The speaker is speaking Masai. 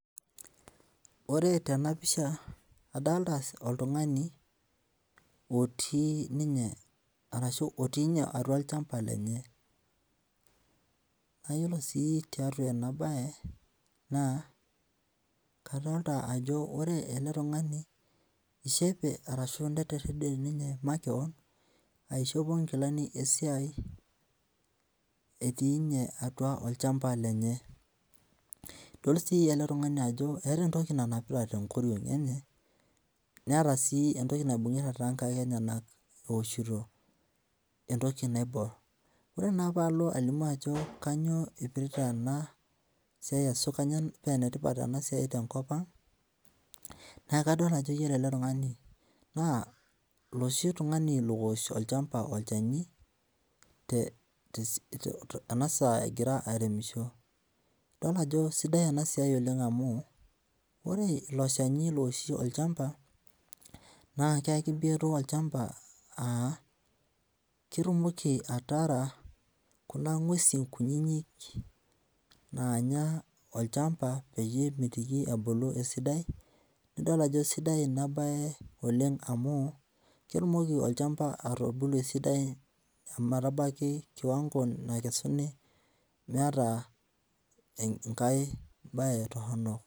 Ore tenapisha adolta oltungani otii ninye arashu otii ninye atua olchamba lenye nayiolo si tiatua enabae na kadolta ajo ore ele tungani ishope ashu etiride makeon aishopo nkilani esiai etii ninye atua olchamba lenye idol si ele tungani ajo eeta entoki nanapita tenkoriong enyebneeta sii entoki naibungita tonkaik enyenak eoshito rnotki naibor ore palo ailimu ajo kanyio epirita esiai esukunya penetipat enasiai tenkop aang na kadol ajo ore ele tungani na oloshi ooshe olchani tenasaa egira aremisho, idol ajo sidai enasia amu lre ilo shani ooshi olchamba nakeaki biotisho olchamba a ketumoki ataara kuna ngwesi kutitik nanya olchamba peyie ebulu esidai, idol ajo sidai enabae oleng amu ketumoki olchamba atubulu esidai ometabaki kiwango nakesuni meeta enkae bae toronok.